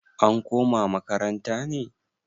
an koma makaranta ne?